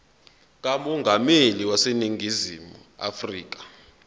kamongameli waseningizimu afrika